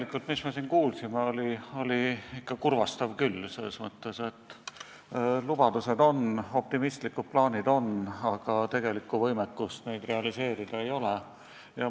See, mis me siin kuulsime, oli ikka kurvastav küll – selles mõttes, et lubadused on, optimistlikud plaanid on, aga tegelikku võimekust neid realiseerida ei ole.